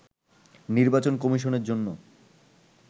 নির্বাচন কমিশনের জন্য